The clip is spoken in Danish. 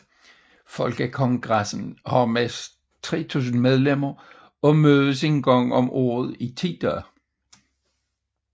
Folkekongressen har næsten 3000 medlemmer og mødes en gang om året i ti dage